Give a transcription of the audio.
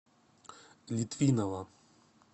литвинова